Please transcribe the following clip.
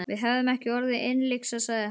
Við hefðum ekki orðið innlyksa, sagði hann.